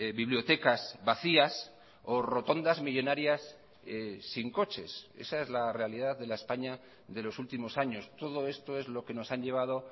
bibliotecas vacías o rotondas millónarias sin coches esa es la realidad de la españa de los últimos años todo esto es lo que nos han llevado